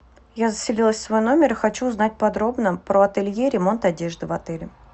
я заселилась в свой номер и хочу узнать подробно про ателье ремонт одежды в отеле